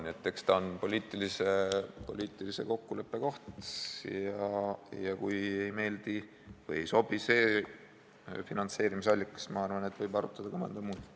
Nii et eks ta ole poliitilise kokkuleppe koht ja kui ei meeldi või ei sobi see finantseerimisallikas, siis, ma arvan, võib arutada ka mõnda muud.